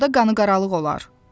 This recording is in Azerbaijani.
Arada qanı qaralıq olar.